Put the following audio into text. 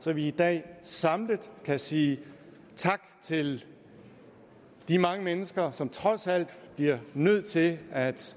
så vi i dag samlet kan sige tak til de mange mennesker som trods alt bliver nødt til at